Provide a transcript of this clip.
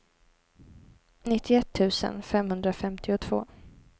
nittioett tusen femhundrafemtiotvå